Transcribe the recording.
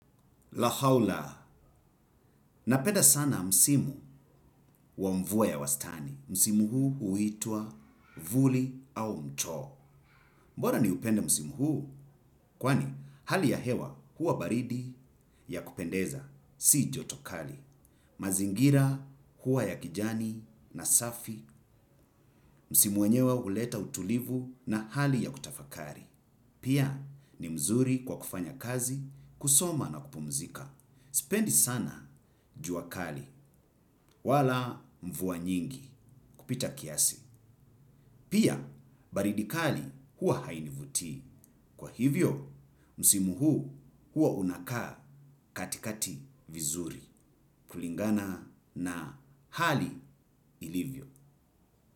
Lahawla, napeda sana msimu wa mvua ya wastani. Msimu huu uitua Vuli au mto. Mbona ni upende msimu huu? Kwani, hali ya hewa huwa baridi ya kupendeza, si joto kali. Mazingira huwa ya kijani na safi, msimu wenyewa uleta utulivu na hali ya kutafakali. Pia, ni mzuri kwa kufanya kazi, kusoma na kupumzika. Sipendi sana jua kali wala mvuwa nyingi kupita kiasi. Pia baridi kali huwa hainivutii. Kwa hivyo, msimuhu huu uwa unakaa katikati vizuri. Kulingana na hali ilivyo.